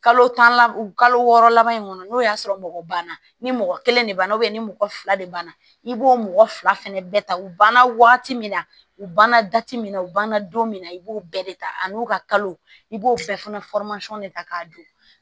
Kalo tan lab o kalo wɔɔrɔ laban in kɔnɔ n'o y'a sɔrɔ mɔgɔ banna ni mɔgɔ kelen de banna ni mɔgɔ fila de banna i b'o mɔgɔ fila fɛnɛ bɛɛ ta u banna waati min na u banna min na u banna don min na i b'o bɛɛ de ta ani u ka kalo i b'o bɛɛ fana de ta k'a don